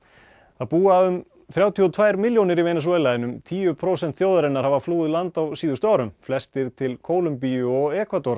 það búa um þrjátíu og tvær milljónir í Venesúela en um tíu prósent þjóðarinnar hafa flúið land á síðustu árum flestir til Kólumbíu og